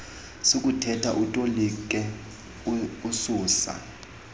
sokuthetha utolike ususa